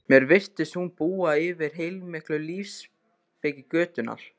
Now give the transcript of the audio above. Mér virtist hún búa yfir heilmikilli lífsspeki götunnar